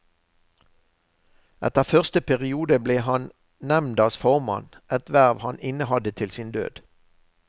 Etter første periode ble han nemndas formann, et verv han innehadde til sin død.